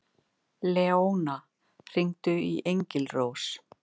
Leóna, hringdu í Engilrós.